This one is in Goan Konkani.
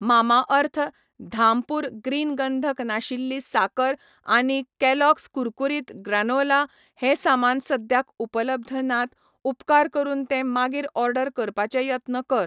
मामाअर्थ, धामपूर ग्रीन गंधक नाशिल्ली साकर आनी कॅलॉग्स कुरकुरीत ग्रानोला हें सामान सद्याक उपलब्ध नात, उपकार करून ते मागीर ऑर्डर करपाचे यत्न कर.